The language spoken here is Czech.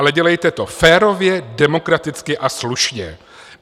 Ale dělejte to férově, demokraticky a slušně.